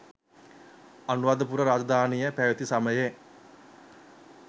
අනුරාධපුර රාජධානිය පැවැති සමයේ